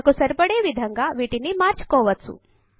మనకు సరిపడే విధంగా వీటిని మార్చుకోవచ్చు